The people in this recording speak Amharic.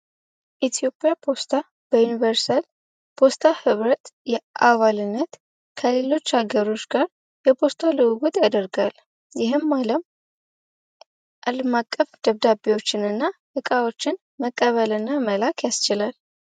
የኢትዮጵያ ፖስታ በዩኒቨርሳል ፖስታ ህብረት አባልነት ከሌሎች አገሮች ጋር የፖስታ ልውውጥ ያደርጋል ይህም አለም አቀፍ ደብዳቤዎችና እቃዎችን መቀበልና መላክ ያስችላል።